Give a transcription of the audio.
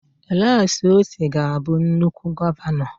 Alex Otti ga-abụ nnukwu gọvanọ.